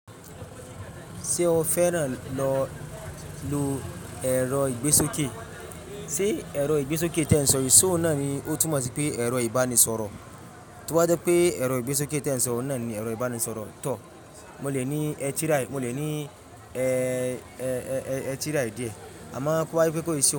Ṣé o fẹ́ràn lọ lo ẹ̀rọ ìgbésókè? Sé ẹ̀rọ ìgbésókè ti eń sọ̀ yii, ṣe ó náani ó túnmọ̀ sí pé ẹ̀rọ ibanisọ̀rọ̀. To ba je pé ẹ̀rọ ìgbésókè ti éń sọ̀, ohun náà ni ẹ̀rọ ìbánisọ̀rọ̀ tọ̀. Mo lè ní ẹ̀ tirai, mo lè ní ẹ̀ tirai dí ẹ̀. Àmáa kó wá pẹ́ ko isi o.